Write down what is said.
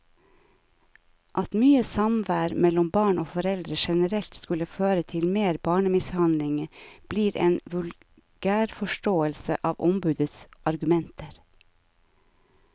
At mye samvær mellom barn og foreldre generelt skulle føre til mer barnemishandling, blir en vulgærforståelse av ombudets argumenter.